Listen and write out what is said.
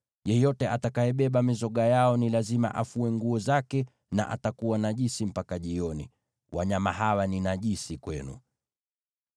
Yeyote atakayebeba mizoga yao ni lazima afue nguo zake, naye atakuwa najisi mpaka jioni. Wanyama hawa ni najisi kwenu.